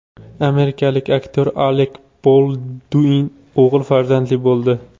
Amerikalik aktyor Alek Bolduin o‘g‘il farzandli bo‘ldi.